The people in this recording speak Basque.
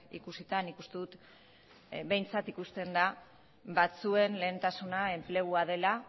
ikusita nik uste dut behintzat ikusten da batzuen lehentasuna enplegua dela